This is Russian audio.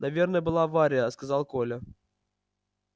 наверно была авария сказал коля